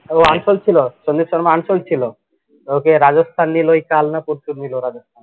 ও unsold ছিল, Sandeep Sharma unsold ছিল, ওকে রাজস্থান নিলো, কালনা পরশু নিলো রাজ